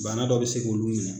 Bana dɔ bɛ se k'olu mina